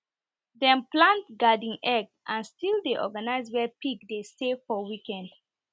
dem plant garden egg and still dey organize where pig dey stay for weekend